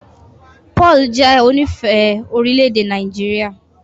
Paul jẹ onífẹ̀ẹ́ orílẹ̀-èdè Nàìjíríà.